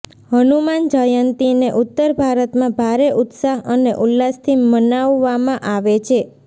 હનુમાન જયંતીને ઉત્તર ભારતમાં ભારે ઉત્સાહ અને ઉલ્લાસથી મનાવવામાં આવે છે